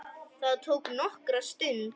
Það tók nokkra stund.